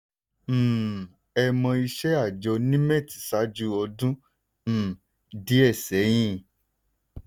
um ẹ mọ̀ iṣẹ́ àjọ nimet ṣáájú ọdún um díẹ̀ sẹ́yìn?